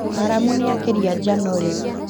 Maramu nĩ akĩria njano rĩu